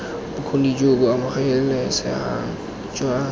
bokgoni jo bo amogelesegang jwa